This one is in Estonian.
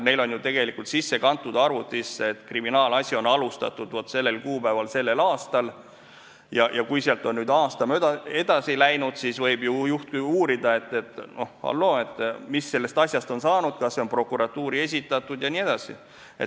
Neil on ju arvutisse kantud see, et kriminaalasi on alustatud sellel kuupäeval sellel aastal ja kui on aasta mööda läinud, siis võib ju juht uurida, et halloo, mis sellest asjast on saanud, kas see on prokuratuuri esitatud jne.